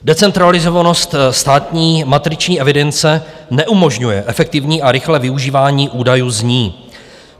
Decentralizovanost státní matriční evidence neumožňuje efektivní a rychlé využívání údajů z ní.